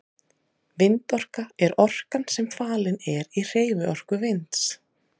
Vindorka er orkan sem falin er í hreyfiorku vinds.